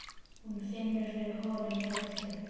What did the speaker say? Hún finnur fyrir honum öllum.